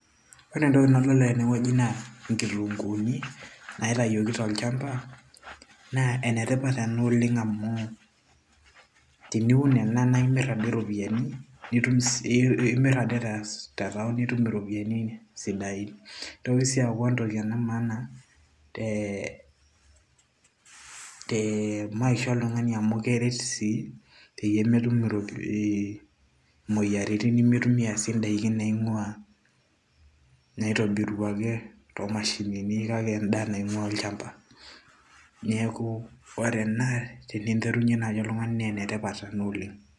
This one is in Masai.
ore entoki nadolita tenewueji naa inkitunguuni naitayioki tolchamba naa enetipat ena oleng amu teniun ena naa imirr ade iropiyiani, imirr ade te town nitum iropiyiani sidain nitoki sii aaku entoki ena e maana tee maisha oltung'ani amu keret sii peyie metum imoyiaritin nemitumia sii indaikin naing'uaa naitobiruaki too mashinini kake endaa naing'uaa olchamba neeku ore ena teninterunyie naaji oltung'ani naa enetipat ena oleng.